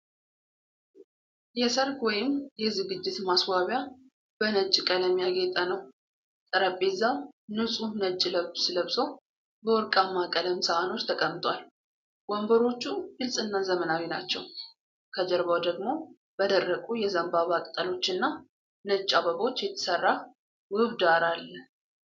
የሠርግ ወይም የዝግጅት ማስዋቢያ በነጭ ቀለም ያጌጠ ነው። ጠረጴዛው ንፁህ ነጭ ልብስ ለብሶ፣ በወርቃማ ቀለም ሳህኖች ተቀምጧል። ወንበሮቹ ግልጽና ዘመናዊ ናቸው። ከጀርባው ደግሞ በደረቁ የዘንባባ ቅጠሎችና ነጭ አበቦች የተሠራ ውብ ዳራ አለ።